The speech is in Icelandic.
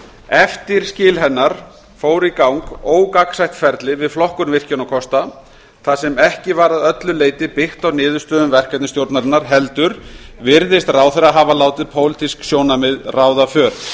eftir skil hennar fóru í gang ógagnsætt ferli við flokkun virkjunarkosta þar sem ekki var að öllu leyti byggt á niðurstöðum verkefnastjórnarinnar heldur virðist ráðherra hafa látið pólitísk sjónarmið ráða för